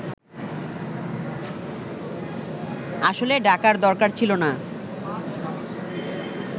আসলে ডাকার দরকার ছিল না